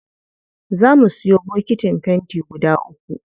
Zaa mu siyo bokitin fenti guda uku.